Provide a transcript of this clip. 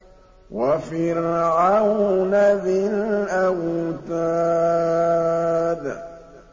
وَفِرْعَوْنَ ذِي الْأَوْتَادِ